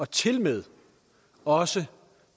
tilmed også